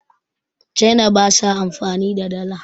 china ba sa amfani da Dala